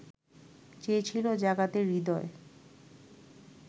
চেয়েছিলো জাগাতে হৃদয়